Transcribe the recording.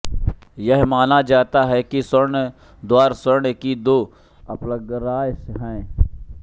यह माना जाता है कि स्वर्ण द्वार स्वर्ग की दो अप्सराएँ हैं